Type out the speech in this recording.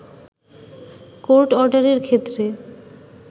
court অর্ডারের ক্ষেত্রে